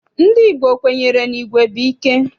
Ndị Igbo kwenyere na igwe bụ ike.